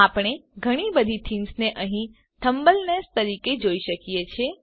આપણે ઘણી બધી થીમ્સને અહીં થંબનેલ્સ મોટા આઈકોનો તરીકે જોઈએ છીએ